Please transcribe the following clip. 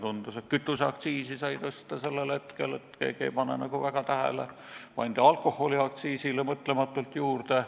Tundus, et kütuseaktsiisi sai sellel hetkel tõsta, et keegi ei pane nagu väga tähele, alkoholiaktsiisile pandi mõtlematult juurde.